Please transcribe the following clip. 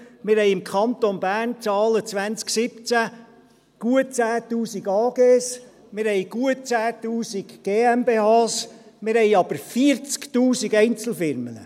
Wir haben im Kanton Bern gemäss den Zahlen 2017 gut 10’000 AGs, wir haben gut 10’000 GmbHs, wir haben aber 40’000 Einzelfirmen.